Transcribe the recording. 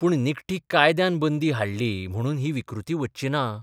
पूण निखटी कायद्यान बंदी हाडली म्हणून ही विकृती बच्ची ना.